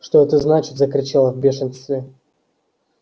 что это значит закричал я в бешенстве